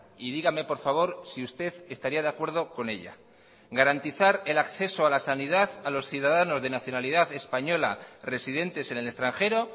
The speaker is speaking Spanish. y dígame por favor si usted estaría de acuerdo con ella garantizar el acceso a la sanidad a los ciudadanos de nacionalidad española residentes en el extranjero